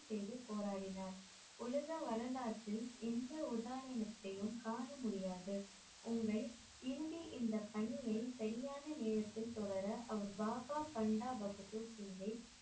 செய்து போராடினார் உலக வரலாற்றில் எந்த உதாரணத்தையும் காண முடியாது உங்கள் இறுதி இந்த பணிய சரியான நேரத்தில் தொடர அவர் பாபா பண்டாபகதூர் சிங்கை